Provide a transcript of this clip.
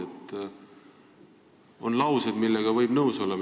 Te ütlesite oma kõnes lauseid, millega võib nõus olla.